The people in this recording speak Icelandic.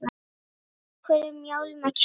Af hverju mjálma kettir?